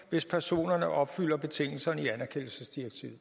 hvis personerne opfylder betingelserne i anerkendelsesdirektivet